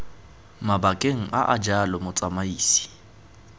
mabakeng a a jalo motsamaisi